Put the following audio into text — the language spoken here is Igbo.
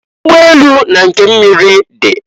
Ụgbọ elu na nke miri di.